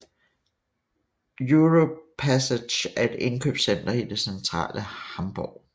Europa Passage er et indkøbscenter i det centrale Hamborg